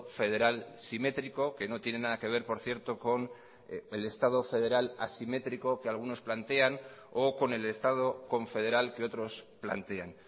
federal simétrico que no tiene nada que ver por cierto con el estado federal asimétrico que algunos plantean o con el estado confederal que otros plantean